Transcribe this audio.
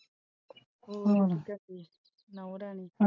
ਹੋਰ ਕਿ ਕਰਦੀ ਨੂੰ ਨੂੰਹ ਰਾਣੀ।